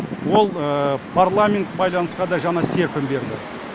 ол парламент байланысқа да жаңа серпін берді